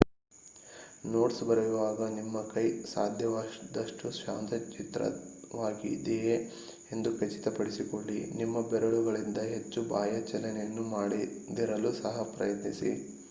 notes ಬರೆಯುವಾಗ ನಿಮ್ಮ ಕೈ ಸಾಧ್ಯವಾದಷ್ಟು ಶಾಂತಚಿತ್ತವಾಗಿದೆಯೇ ಎಂದು ಖಚಿತಪಡಿಸಿಕೊಳ್ಳಿ ನಿಮ್ಮ ಬೆರಳುಗಳಿಂದ ಹೆಚ್ಚು ಬಾಹ್ಯ ಚಲನೆಯನ್ನು ಮಾಡದಿರಲು ಸಹ ಪ್ರಯತ್ನಿಸಿ